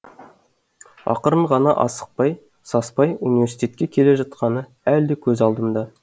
ақырын ғана асықпай саспай университетке келе жатқаны әлі де көз алдымда